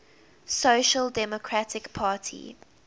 social democratic party